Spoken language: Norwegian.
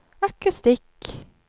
akustikk